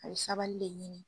A bɛ sabali le ɲini.